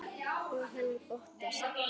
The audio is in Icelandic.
Og hann óttast.